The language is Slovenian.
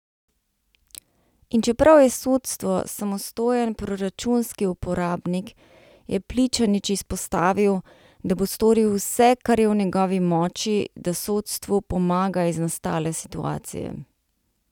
In čeprav je sodstvo samostojen proračunski uporabnik, je Pličanič izpostavil, da bo storil vse, kar je v njegovi moči, da sodstvu pomaga iz nastale situacije.